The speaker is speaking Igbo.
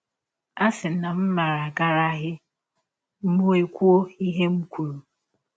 A sị na m maara agaraghị m m ekwụ ihe ahụ m kwụrụ!